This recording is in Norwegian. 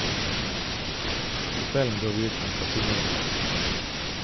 På kvelden dro vi ut på en casinorunde.